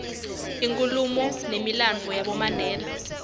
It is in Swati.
ikhuluma numilandvo yabomandela